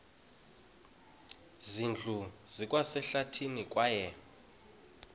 zindlu zikwasehlathini kwaye